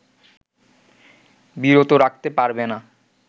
বিরত রাখতে পারবে না